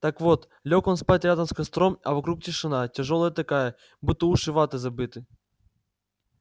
так вот лёг он спать рядом с костром а вокруг тишина тяжёлая такая будто уши ватой забиты